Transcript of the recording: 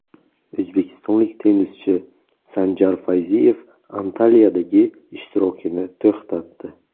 O‘zbekistonlik tennischi Sanjar Fayziyev Antaliyadagi ishtirokini to‘xtatdi.